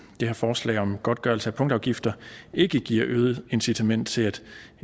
det her forslag om godtgørelse af punktafgifter ikke giver et øget incitament til at